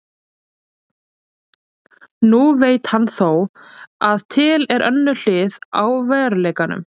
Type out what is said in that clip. Nú veit hann þó að til er önnur hlið á veruleikanum.